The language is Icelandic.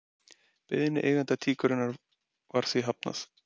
Beiðni eiganda tíkurinnar var því hafnað